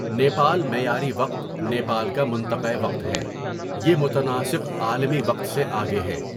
نیپال معیاری وقت نیپال کا منطقۂ وقت ہے یہ متناسق عالمی وقت سے آگے ہے.